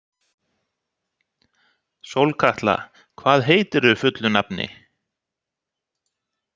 Sólkatla, hvað heitir þú fullu nafni?